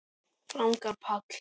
Ragnar Páll.